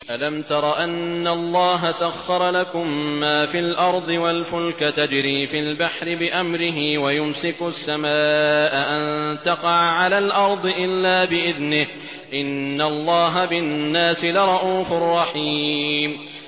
أَلَمْ تَرَ أَنَّ اللَّهَ سَخَّرَ لَكُم مَّا فِي الْأَرْضِ وَالْفُلْكَ تَجْرِي فِي الْبَحْرِ بِأَمْرِهِ وَيُمْسِكُ السَّمَاءَ أَن تَقَعَ عَلَى الْأَرْضِ إِلَّا بِإِذْنِهِ ۗ إِنَّ اللَّهَ بِالنَّاسِ لَرَءُوفٌ رَّحِيمٌ